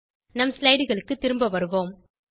நம் slideகளுக்கு திரும் வருவோம்